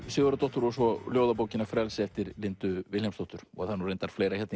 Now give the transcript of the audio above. Sigurðardóttur og ljóðabókina frelsi eftir Lindu Vilhjálmsdóttur það er reyndar fleira